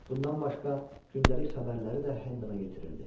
Bundan başqa, gündəlik xəbərləri də Hendana yetirirdi.